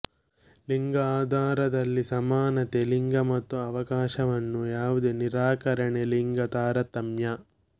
ಲಿಂಗ ಆಧಾರದಲ್ಲಿ ಸಮಾನತೆ ಲಿಂಗ ಮತ್ತು ಅವಕಾಶವನ್ನು ಯಾವುದೇ ನಿರಾಕರಣೆ ಲಿಂಗ ತಾರತಮ್ಯ